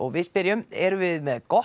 við spyrjum erum við með gott